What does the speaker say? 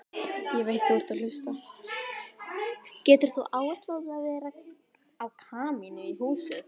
Getur þú áætlað verð á kamínu í húsið?